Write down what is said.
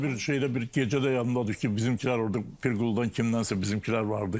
Arada bir şeydə, bir gecədə yadımda deyil ki, bizimkilər orda Pirquludan kimdənsə bizimkilər vardı.